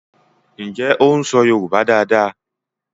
Njé o ń so yorùbá dá dá?